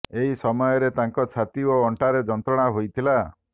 ଏହି ସମୟରେ ତାଙ୍କ ଛାତି ଓ ଅଣ୍ଟାରେ ଯନ୍ତ୍ରଣା ହୋଇଥିଲା